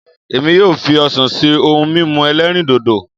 Èmi yóò fi ọsàn ṣe ohun mímu ẹlẹ́rìndòdò